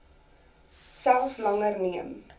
selfs langer neem